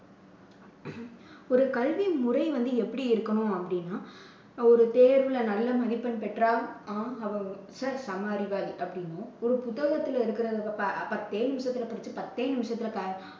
ஒரு கல்வி முறை வந்து எப்படி இருக்கணும் அப்படின்னா ஒரு தேர்வுல நல்ல மதிப்பெண் பெற்றால் செம அறிவாளி அப்படிம்போம். ஒரு புத்தகத்துல இருக்கறதை ப~ பத்தே நிமிஷத்துல படிச்சி பத்தே நிமிஷத்துல